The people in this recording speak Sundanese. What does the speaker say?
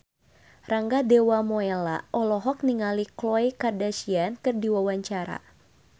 Rangga Dewamoela olohok ningali Khloe Kardashian keur diwawancara